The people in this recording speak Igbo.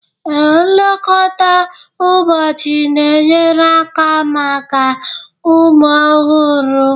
Ee, nlekọta ụbọchị na-enyere aka maka ụmụ ọhụrụ